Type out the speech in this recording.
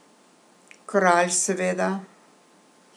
Kralj seveda.